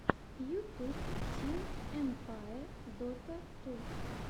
ютуб тим эмпае дота ту